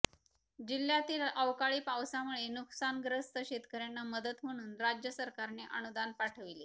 जिल्ह्णातील अवकाळी पावसामुळे नुकसानग्रस्त शेतकऱ्यांना मदत म्हणून राज्य सरकारने अनुदान पाठविले